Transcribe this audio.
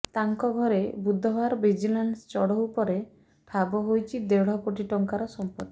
ତାଙ୍କ ଘରେ ବୁଧବାର ଭିଜିଲାନ୍ସ ଚଢ଼ଉ ପରେ ଠାବ ହୋଇଛି ଦେଢ଼ କୋଟି ଟଙ୍କାର ସମ୍ପତ୍ତି